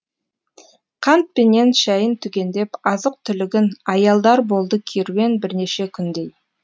қант пенен шәйін түгендеп азық түлігін аялдар болды керуен бірнеше күндей